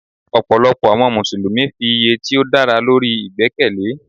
Ọ̀pọ̀lọpọ̀ àwọn Mùsùlùmí fi iye tí ó dára lórí ìgbẹ́kẹ̀lé.